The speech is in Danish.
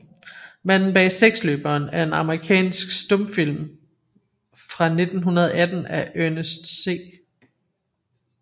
Manden bag seksløberen er en amerikansk stumfilm fra 1918 af Ernest C